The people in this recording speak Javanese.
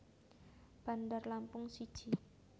Bandar Lampung siji